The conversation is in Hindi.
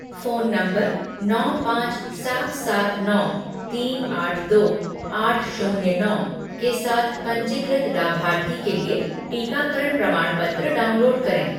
फ़ोन नंबर नौ पाँच सात सात नौ तीन आठ दो आठ शून्य नौ के साथ पंजीकृत लाभार्थी के लिए टीकाकरण प्रमाणपत्र डाउनलोड करें